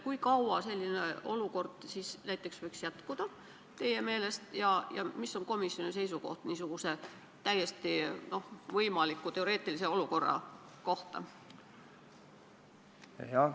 Kui kaua selline olukord võiks siis teie meelest kesta ja mida arvab komisjon niisugusest teoreetiliselt täiesti võimalikust olukorrast?